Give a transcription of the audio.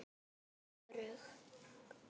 Hér er ég örugg.